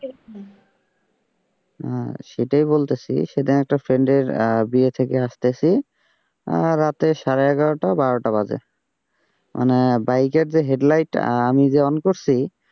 হম সেটাই বলতেছি সেটাই একটা friend এর বিয়ে থেকে আসতেছি রাতে সাড়ে এগারোটা বারোটা বাজে, মানে বাইকের যে হেডলাইট আমি যে on করছি।